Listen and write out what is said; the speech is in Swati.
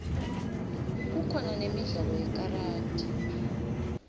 kukhona nemidlalo yekaradi